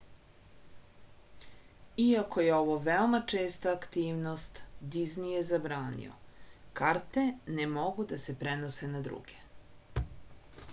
iako je ovo veoma česta aktivnost dizni je zabranio karte ne mogu da se prenose na druge